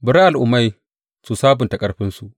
Bari al’ummai su sabunta ƙarfinsu!